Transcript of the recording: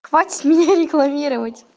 хватит меня рекламировать